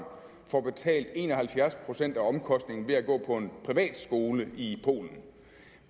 får betalt en og halvfjerds procent af omkostningen ved at gå på en privatskole i polen